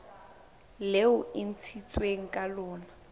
leo e ntshitsweng ka lona